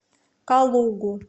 калугу